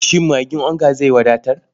Shin magin onga zai wadatar?